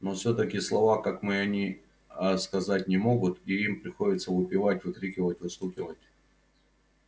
но всё-таки слова как мы они а сказать не могут и им приходится выпевать выкрикивать выстукивать